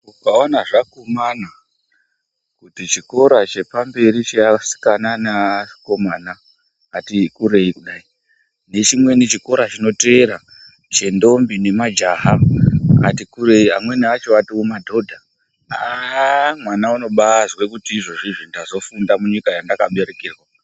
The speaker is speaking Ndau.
Ukaona zvakumana kuti chikora chepamberi cheasikana neakomana ati kurei kudai. Nechimweni chikora chinotevera chendombi nemajaha ,atikurei amweni acho atomadhodha. Haa mwana unobazwe kuti izvezvizvi ndazofunda munyika yanda kaberekwerwa.